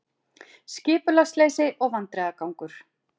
Skipulagsleysi og vandræðagangur